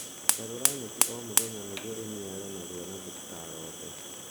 Garũra nyeki o mũthenya nĩguo ĩniare narua na ndĩkarote